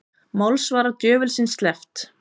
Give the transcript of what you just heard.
Málsvara djöfulsins sleppt